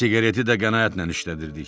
Siqareti də qənaətlə işlədirdik.